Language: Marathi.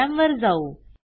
प्रोग्रॅमवर जाऊ